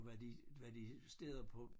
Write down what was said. var de var de steder på